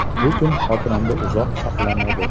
Bu kun xotiramda uzoq saqlanadi”.